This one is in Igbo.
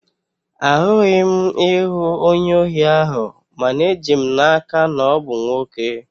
Ahụghị m ihu onye ohi ahụ, mana eji m n'aka na ọ bụ nwoke